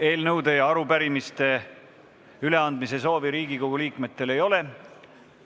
Eelnõude ja arupärimiste üleandmise soovi Riigikogu liikmetel ei ole.